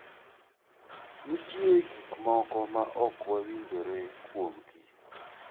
Nitie gik moko ma ok wawinjre kuomgi.